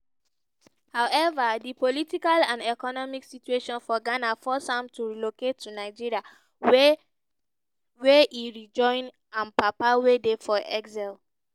however di political and economic situation for ghana force am to relocate to nigeria wia e rejoin im papa wey dey for exile.